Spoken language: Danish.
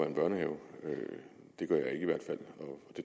en børnehave det gør jeg i hvert fald